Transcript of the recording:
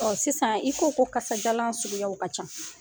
Ɔ sisan i ko ko kasajalan suguw ka can.